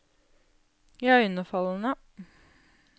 iøynefallende